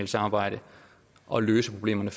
samarbejde og løse problemerne